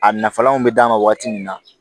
A nafalanw bɛ d'a ma waati min na